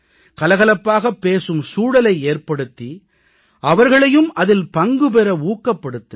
கலகலப்பாகப் பேசும் சூழலை ஏற்படுத்தி அவர்களையும் அதில் பங்கு பெற ஊக்கப்படுத்துங்கள்